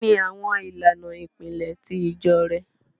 Kíni awọn ilànà ìpílẹ̀ ti ìjọ̀ rẹ̀?